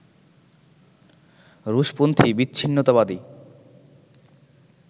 রুশপন্থি বিচ্ছিন্নতাবাদী